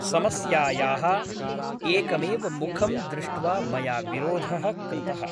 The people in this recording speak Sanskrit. समस्यायाः एकमेव मुखं दृष्ट्वा मया विरोधः कृतः ।